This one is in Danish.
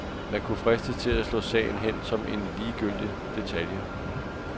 Man kunne fristes til at slå sagen hen som en ligegyldig detalje.